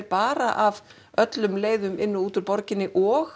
bara af öllum leiðum inn og út úr borginni og